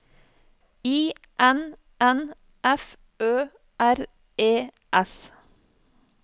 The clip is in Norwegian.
I N N F Ø R E S